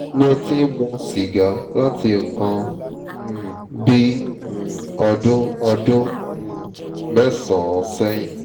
mo ti ń mu sìgá láti nǹkan um bí um ọdún ọdún um mẹ́sàn-án sẹ́yìn